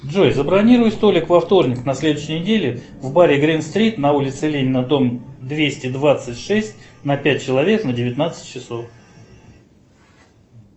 джой забронируй столик во вторник на следующей неделе в баре грин стрит на улице ленина дом двести двадцать шесть на пять человек на девятнадцать часов